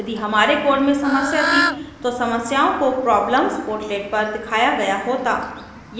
यदि हमारे code में समस्या थी तो समस्याओं को problemsportlet पर दिखाया गया होता